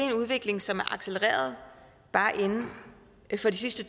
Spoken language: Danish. en udvikling som er accelereret bare inden for de sidste